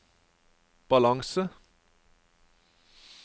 balanse